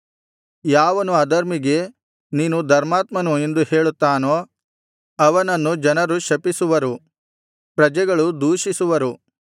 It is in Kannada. ಯಾವನು ಅಧರ್ಮಿಗೆ ನೀನು ಧರ್ಮಾತ್ಮನು ಎಂದು ಹೇಳುತ್ತಾನೋ ಅವನನ್ನು ಜನರು ಶಪಿಸುವರು ಪ್ರಜೆಗಳು ದೂಷಿಸುವರು